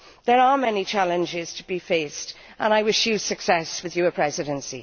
There are many challenges to be faced, and I wish you success with your Presidency.